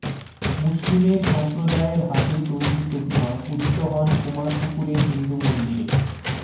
মুসলিমের সম্প্রদায়ের হাতে তৈরী প্রতিমা পূজিত হন কুমারপুকুরে হিন্দু মন্দিরে